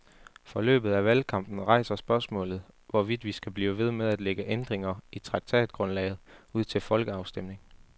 Forløbet af valgkampen rejser spørgsmålet, hvorvidt vi skal blive ved med at lægge ændringer i traktatgrundlaget ud til folkeafstemning.